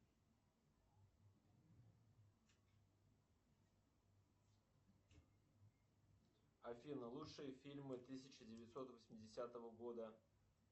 афина лучшие фильмы тысяча девятьсот восьмидесятого года